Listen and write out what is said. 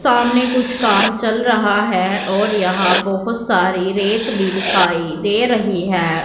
सामने कुछ काम चल रहा है और यहां बहुत सारी रेत भी दिखाई दे रही है।